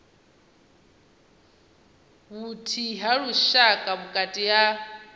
vhuthihi ha lushaka vhukati ha